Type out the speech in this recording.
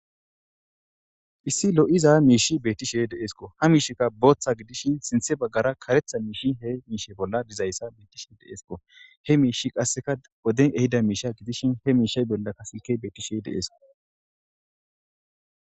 Issi lo'iza miishi bettishey deeesko ha miishekka booththa gidishin sinthe baggara karetha miishi he miishe bolla dizayssa bettishe deesko he miishi qasseka oden ehida miisha gidishin he miishey bellaka sikey bettishey deeesko.